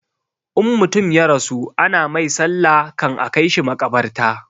In mutum ya rasu ana mai sallah kan a kaishi makabarta